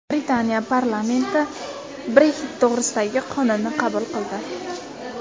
Britaniya parlamenti Brexit to‘g‘risidagi qonunni qabul qildi.